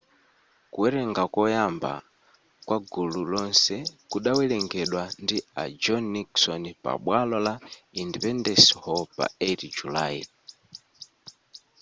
kuwerenga koyamba kwa gulu lonse kudawerengedwa ndi a john nixon pabwalo la independence hall pa 8 julayi